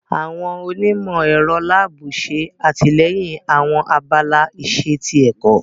Awọn onimọ-ẹrọ laabu ṣe atilẹyin awọn abala iṣe ti ẹkọ.